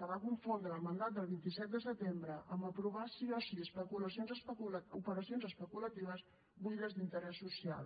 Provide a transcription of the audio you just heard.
que va confondre el mandat del vint set de setembre amb aprovar sí o sí operacions especulatives buides d’interès social